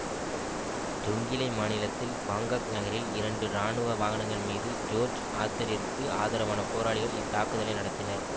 Jonglei மாநிலத்தில் Bangkok நகரில் இரண்டு இராணுவ வாகனங்கள் மீது ஜோர்ஜ் ஆத்தரிற்கு ஆதரவான போராளிகள் இத்தாக்குதலை நடத்தினர்